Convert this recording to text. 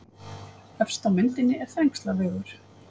Efst á myndinni er Þrengslavegur.